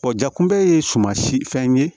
jakunbɛ ye suman si fɛn ye